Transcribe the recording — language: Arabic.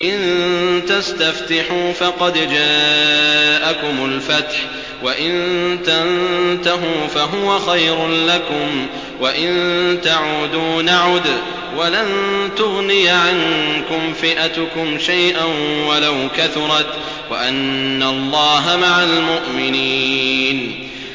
إِن تَسْتَفْتِحُوا فَقَدْ جَاءَكُمُ الْفَتْحُ ۖ وَإِن تَنتَهُوا فَهُوَ خَيْرٌ لَّكُمْ ۖ وَإِن تَعُودُوا نَعُدْ وَلَن تُغْنِيَ عَنكُمْ فِئَتُكُمْ شَيْئًا وَلَوْ كَثُرَتْ وَأَنَّ اللَّهَ مَعَ الْمُؤْمِنِينَ